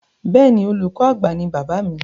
Bẹ́ẹ̀ni, olùkọ àgbà ní bàbáà mi.